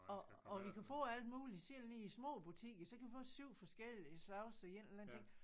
Og og vi kan få alt muligt selv nede i små butikker så kan vi få 7 forskellige slags af en eller anden ting